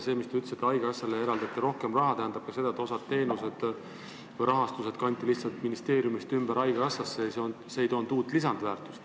Te ütlesite, et haigekassale eraldati rohkem raha, see tähendab ka seda, et osa raha kanti lihtsalt ministeeriumist ümber haigekassasse ja see ei toonud lisandväärtust.